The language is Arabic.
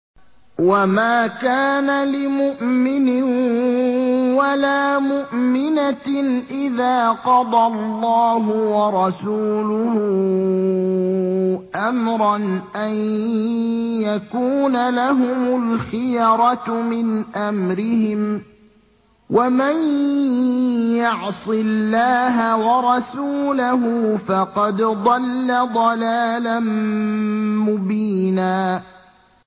وَمَا كَانَ لِمُؤْمِنٍ وَلَا مُؤْمِنَةٍ إِذَا قَضَى اللَّهُ وَرَسُولُهُ أَمْرًا أَن يَكُونَ لَهُمُ الْخِيَرَةُ مِنْ أَمْرِهِمْ ۗ وَمَن يَعْصِ اللَّهَ وَرَسُولَهُ فَقَدْ ضَلَّ ضَلَالًا مُّبِينًا